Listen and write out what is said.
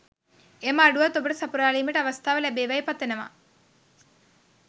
එම අඩුවත් ඔබට සපුරාලීමට අවස්ථාව ලැබෙවායි පතනවා